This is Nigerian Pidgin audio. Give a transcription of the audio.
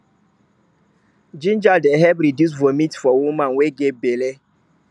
ginger dey help reduce vomit for woman wey get belle